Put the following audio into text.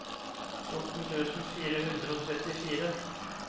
fjorten tusen fire hundre og trettifire